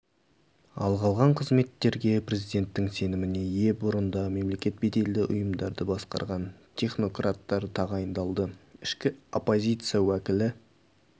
ал қалған қызметтерге президенттің сеніме ие бұрында мемлекеттік беделді ұйымдарды басқарған технократтар тағайындалды ішкі оппозиция уәкілі